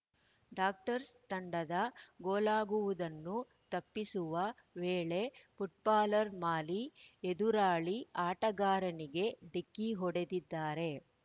doctors ತಂಡದ ಗೋಲಾಗುವುದನ್ನು ತಪ್ಪಿಸುವ ವೇಳೆ ಫುಟ್ಬಾಲರ್‌ ಮಾಲಿ ಎದುರಾಳಿ ಆಟಗಾರನಿಗೆ ಢಿಕ್ಕಿ ಹೊಡೆದಿದ್ದಾರೆ